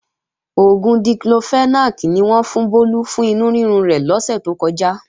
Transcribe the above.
Oògùn Diclofenac ni wọ́n fún Bólú fún inú rírun rẹ̀ lọ́sè tó kọjá